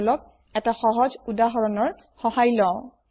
বলক এটা সহজ উদাহৰণৰ সহায় লওঁ